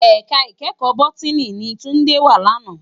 Èká ikèékò Bótìní ni Tunde wá làná